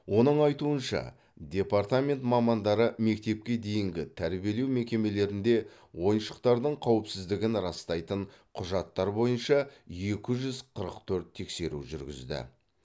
оның айтуынша департамент мамандары мектепке дейінгі тәрбиелеу мекемелерінде ойыншықтардың қауіпсіздігін растайтын құжаттар бойынша екі жүз қырық төрт тексеру жүргізді